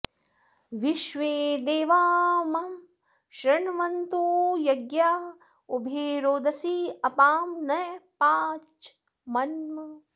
विश्वे॑ दे॒वा मम॑ शृण्वन्तु य॒ज्ञिया॑ उ॒भे रोद॑सी अ॒पां नपा॑च्च॒ मन्म॑